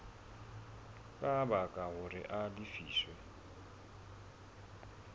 ka baka hore a lefiswe